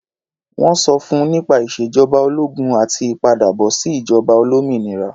Wọ́n sọ fún nípa ìṣèjọba ológun àti ìpadàbọ̀sí ìjọba olómìnira.